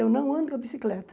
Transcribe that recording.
Eu não ando com a bicicleta.